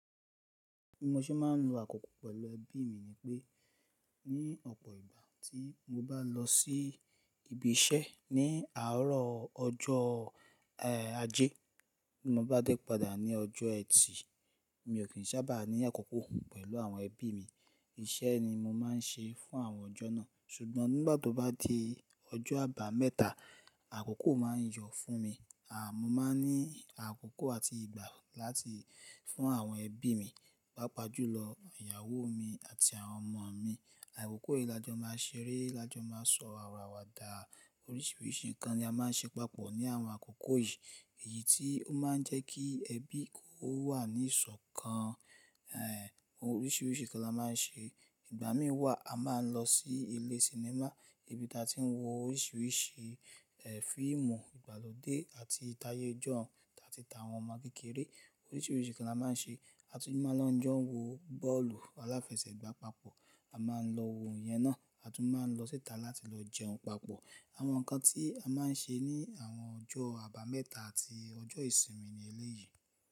Bí mo ṣe máa ń lo àkókò pẹ̀lú ẹbí mi ni pé, ní ọ̀pọ̀ ìgbà tí mo bá n lọ sí ibi iṣẹ́ ní àárọ̀ ọjọ́ àjẹ́, bí mo bá dẹ́ padà ní ọjọ́ ẹtì, mi ò kí n sábà ní àkókò pẹ̀lú àwọn ẹbí mi. Iṣẹ́ ni mo máa ń ṣe fún àwọn ọjọ́ náà. Ṣùgbọ́n nígbà tó bá di ọjọ́ àbámẹ́ta, àkókò máa ń yọ̀ fún mi. Àmọ́ máa ní àkókò àti ìgbà láti fún àwọn ẹbí mi, pàápàá jùlọ ìyàwó mi àti àwọn ọmọ mi. Àkókò yìí lajọ máa ṣeré, lajọ máa sọ̀rọ̀ àwàdà, oríṣìíríṣìí nǹkan ni a máa ń ṣe papọ̀ ní àwọn àkókò yìí. Èyí tí ó máa ń jẹ́ kí ẹbí kó wà ní ìsọ̀kan. Ẹ̀h, oríṣìíríṣìí nǹkan la máa ń ṣe. Ìgbà mìíràn wà, a máa ń lọ sí ilé sinimá, ibi tí a ti ń wo oríṣìíríṣìí, ẹ́, fíìmù ìgbàlódé àti tayé ijoun, ati ti àwọn ọmọ kékeré. Oríṣìíríṣìí nǹkan la máa ń ṣe. A tún máa lọ jọ̀ọ̀ wo bọ́ọ̀lù aláfẹsẹ̀gbá papọ̀, a máa ń lọ wo òun yẹn náà, a tún máa lọ síta láti lọ jẹun papọ̀. Àwọn nǹkan tí a máa ń ṣe ní àwọn ọjọ́ àbámẹ́ta àti ọjọ́ ìsinmi ni eléyìí.